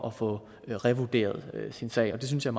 at få revurderet sin sag det synes jeg